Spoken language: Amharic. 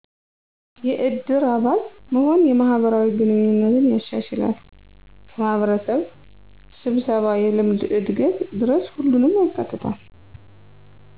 የእድር አባል መሆን የማህበራዊ ግንኙነትን ያሻሸላል፣ ከማህበረሰብ ሰብሰባ የልምድ እድገት ድረሰ ሁሉንም ያካትታል።